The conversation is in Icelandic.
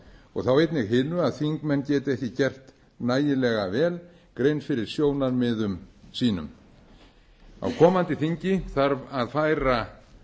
og þá einnig hinu að þingmenn geti ekki gert nægjanlega vel grein fyrir sjónarmiðum sínum á komandi þingi þarf að færa